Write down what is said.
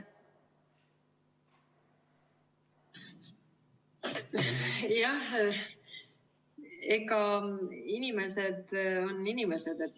Jah, inimesed on inimesed.